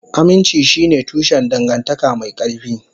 Aminci shine tushen dangantaka mai ƙarfi.